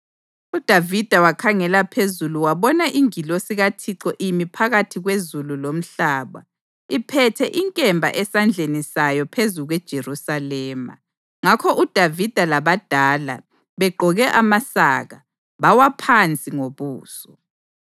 UDavida wakhangela phezulu wabona ingilosi kaThixo imi phakathi kwezulu lomhlaba, iphethe inkemba esandleni sayo phezu kweJerusalema. Ngakho uDavida labadala, begqoke amasaka, bawa phansi ngobuso.